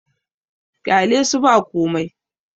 ƙyalesu ba komai!